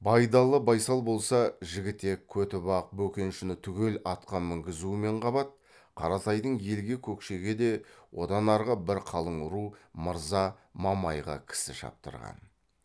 байдалы байсал болса жігітек көтібақ бөкеншіні түгел атқа мінгізумен қабат қаратайдың елі көкшеге де одан арғы бір қалың ру мырза мамайға кісі шаптырған